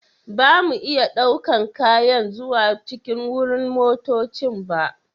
Ba mu iya ɗaukan kayan zuwa cikin wurin motoccin ba.